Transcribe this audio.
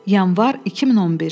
Yanvar 2011.